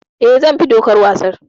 Eh, zan bi dokar wasan.